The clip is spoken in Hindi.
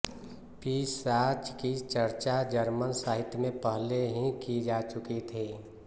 पिशाच की चर्चा जर्मन साहित्य में पहले ही की जा चुकी थी